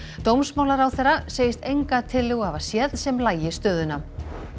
dómsmálaráðherra segist enga tillögu hafa séð sem lagi stöðuna